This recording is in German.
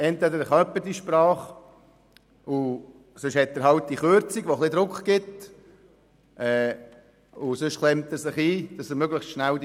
Entweder kann jemand die Sprache, und wenn nicht, macht diese Kürzung etwas Druck, sodass sich die Person bemüht, die Sprache möglichst schnell zu lernen.